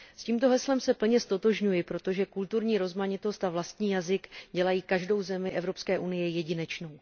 S tímto heslem se plně ztotožňuji, protože kulturní rozmanitost a vlastní jazyk dělají každou zemi Evropské unie jedinečnou.